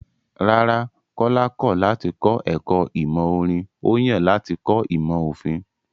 Rárá, Kọ́lá kọ̀ láti kọ ẹ̀kọ́ ìmọ̀ orin, ó yàn láti kọ́ ìmọ̀ òfin.